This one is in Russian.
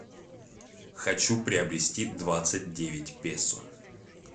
хочу приобрести двадцать девять песо